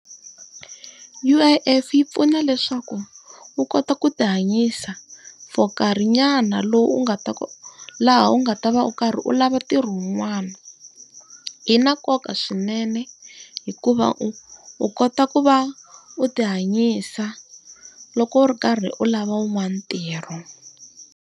U_I_F yi pfuna leswaku u kota ku ti hanyisa for nkarhinyana lowu u nga ta laha u nga ta va u karhi u lava ntirho wun'wana. Yi na nkoka swinene hikuva u u kota ku va u ti hanyisa loko u ri karhi u lava un'wana ntirho.